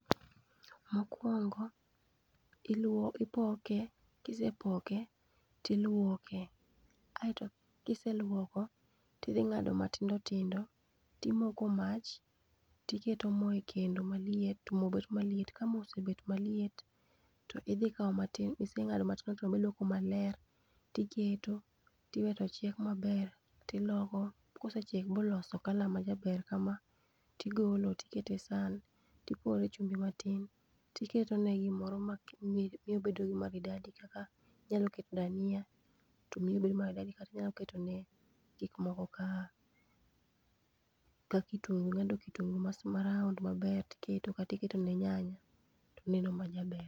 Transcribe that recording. Mokuongo iluo ipoke, kisepoke ti iluoke, aeto kiseluoko tidhi ng'ado matindo tindo timoko mach, tiketo mo e kendo maliet mo bet maliet, ka mo osebet maliet, to idhi kao matin miseng'ado matindo tindo mailuoko maler tiketo, tiwe to chiek maber, tiloko. Kosechiek boloso colour ma jaber kama, tigolo tiketo e san, tipore e chumbi matin, tiketo ne gimoro ma miye obedo gi maridadi kaka inyalo keto dania to miye obedo maridadi kata inyalo ketone gik moko ka kitungu mondo kitungu ma round maber kata iketo ne nyanya tobedo ma jaber.